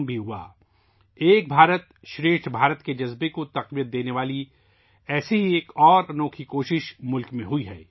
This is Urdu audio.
ایسی ہی ایک انوکھی کوشش ملک میں ایک بھارت، شریشٹھ بھارت کے جذبے کو تقویت دینے کے لیے کی گئی ہے